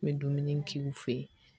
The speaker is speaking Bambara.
N bɛ dumuni k'i fɛ yen